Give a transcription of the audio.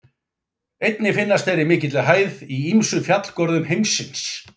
Einnig finnast þeir í mikilli hæð í ýmsum fjallgörðum heimsins.